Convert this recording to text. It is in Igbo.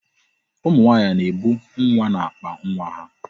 Ụmụ nwaanyị na-ebu nwa n'akpa nwa ha.